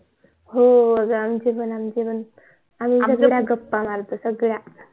हो आमचे पण आमचे पण